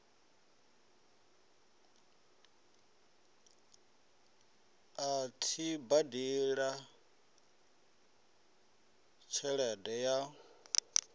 a tshi badela tshelede ya